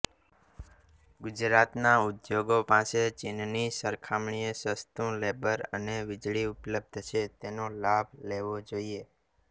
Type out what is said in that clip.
ગુજરાતના ઉદ્યોગો પાસે ચીનની સરખામણીએ સસ્તું લેબર અને વીજળી ઉપલબ્ધ છે તેનો લાભ લેવો જોઈએ